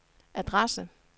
adresse